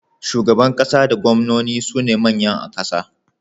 Shugaban ƙasa da gwamnono sune manyan a ƙasa.